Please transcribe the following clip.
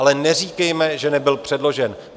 Ale neříkejte, že nebyl předložen.